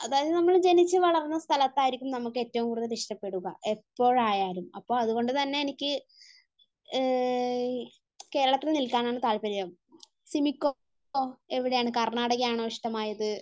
അതായത് നമ്മൾ ജനിച്ചു വളർന്ന സ്ഥലത്തായിരിക്കും നമുക്ക് ഏറ്റവും കൂടുതൽ ഇഷ്ടപ്പെടുക, എപ്പോഴായാലും. അതുകൊണ്ട് തന്നെ എനിക്ക് കേരളത്തിൽ നിൽക്കാനാണ താല്പര്യം. സിമിക്കോ , എവിടെയാണ്? കർണ്ണാടകയാണോ ഇഷ്ടമായത്?